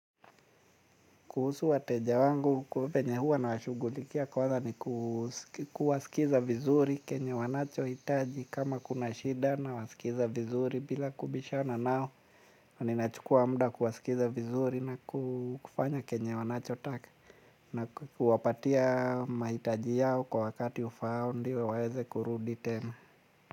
Kuhusu wateja wangu ku venye huwa nawashughulikia kwanza ni kuwasikiza vizuri kenye wanachohitaji kama kuna shida nawasikiza vizuri bila kubishana nao. Ni nachukua mda kuwasikiza vizuri na kufanya kenye wanachotaka na kuwapatia mahitaji yao kwa wakati ufaao ndio waeze kurudi tena.